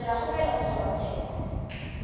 ka dira kgopelo go kgorotsheko